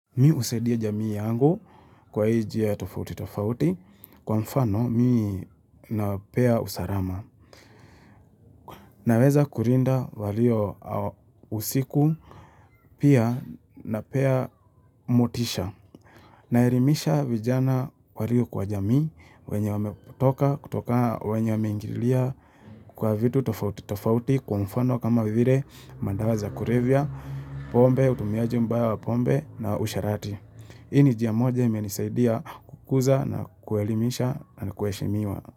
Mi husaidia jamii yangu kwa hii njia tofauti tofauti, kwa mfano mi napea usalama. Naweza kulinda walio usiku, pia napea motisha. Naelimisha vijana walio kwa jamii, wenye wamekutoka, kutoka wenye wameingilia kwa vitu tofauti tofauti, kwa mfano kama vile madawa za kulevya, pombe, utumiaji mbaya wa pombe na usherati. Hii ni njia moja imenisaidia kukuza na kuelimisha na kuheshemiwa.